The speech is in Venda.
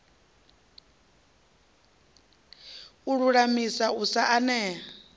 u lulamisa u sa eana